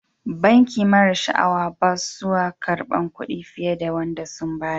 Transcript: Banki mara sha'awa bassuwa karban Kudi fiyar da Wanda sun badda.